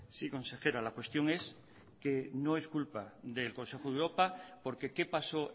sí consejera la cuestión es que no es culpa del consejo de europa porque qué pasó